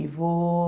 E vou...